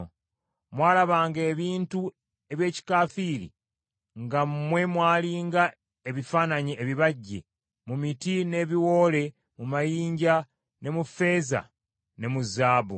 Mwalabanga ebintu eby’ekikaafiiri, nga mwe mwalinga ebifaananyi ebibajje mu miti n’ebiwoole mu mayinja ne mu ffeeza ne mu zaabu.